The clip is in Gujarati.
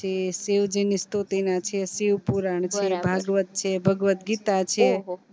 પછી શિવજીની સ્તૃતિ ના છે શિવપુરાણ પછી ભાગવત છે ભગવત ગીતા છે